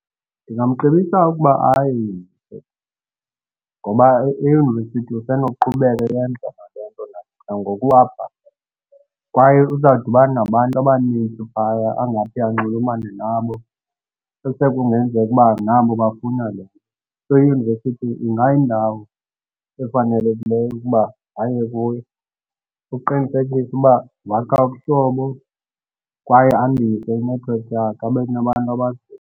Ndingamcebisa ukuba aye eyunivesithi ngoba eyunivesithi usenokuqhubeka eyenza nale nto nangoku apha kwaye uzawudibana nabantu abaninzi phaya angathi anxulumene nabo esekungenzeka uba nabo bafuna le nto. So, eyunivesithi ingayindawo efanelekileyo ukuba aye kuyo ukuqinisekisa uba wakha ubuhlobo kwaye andise inethiwekhi yakhe abe nabantu abaziyo.